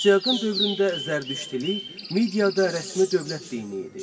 Asiaqın dövründə Zərdüştilik mediada rəsmi dövlət dini idi.